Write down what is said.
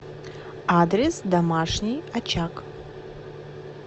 адрес домашний очаг